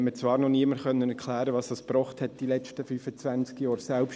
Es konnte mir zwar noch niemand erklären, was dies in den letzten 25 Jahren gebracht hat.